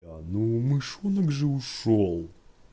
ну мышонок же ушёл